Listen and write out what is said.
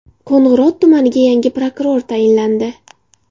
Qo‘ng‘irot tumaniga yangi prokuror tayinlandi.